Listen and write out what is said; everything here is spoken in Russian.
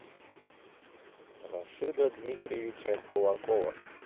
рашида дмитриевича кулакова